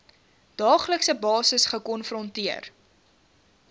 daaglikse basis gekonfronteer